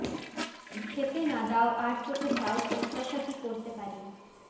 খেতে না দাও আড় চোখে চাও প্রত্যাশা কী করতে পারি